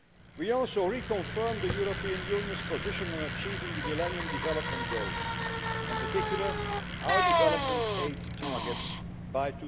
We also reconfirm the European Union's position on achieving the Millennium Development Goals, in particular, our development aid targets, by